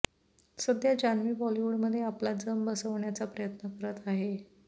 सध्या जान्हवी बॉलिवूडमध्ये आपला जम बसवण्याचा प्रयत्न करत आहे